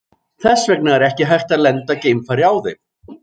Þess vegna er ekki hægt að lenda geimfari á þeim.